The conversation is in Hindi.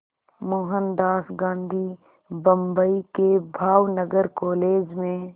मोहनदास गांधी बम्बई के भावनगर कॉलेज में